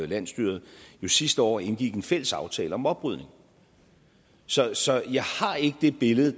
landsstyret jo sidste år indgik en fælles aftale om oprydning så så jeg har ikke det billede